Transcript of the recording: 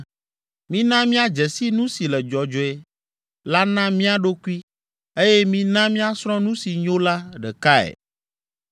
Mina míadze si nu si le dzɔdzɔe la na mía ɖokui eye mina míasrɔ̃ nu si nyo la ɖekae.